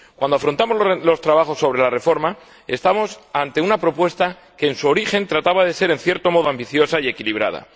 Cuando afrontamos los trabajos sobre la reforma nos encontramos ante una propuesta que en su origen trataba de ser, en cierto modo, ambiciosa y equilibrada.